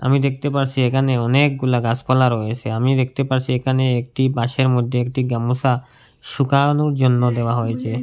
আমি দেখতে পারসি এখানে অনেকগুলা গাসপালা রয়েসে আমি দেখতে পারসি এখানে একটি বাঁশের মধ্যে একটি গামোসা শুকাওনোর জন্য দেওয়া হয়েছে।